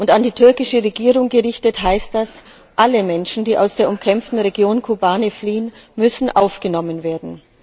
An die türkische Regierung gerichtet heißt das Alle Menschen, die aus der umkämpften Region Kobane fliehen, müssen aufgenommen werden.